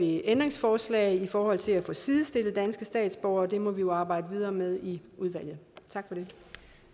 et ændringsforslag i forhold til at få sidestillet danske statsborgere og det må vi jo arbejde videre med i udvalget